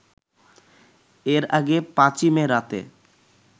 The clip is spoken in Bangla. এর আগে ৫ই মে রাতে